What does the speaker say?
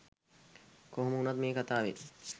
කොහොම වුනත් මේ කතාවෙන්